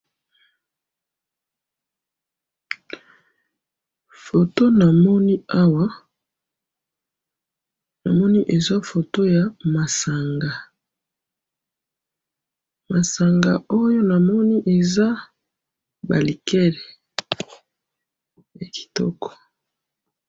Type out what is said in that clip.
Photo namoni awa, namoni eza photo ya masanga, masanga oyo namoni eza ba liqueurs, ya kitoko.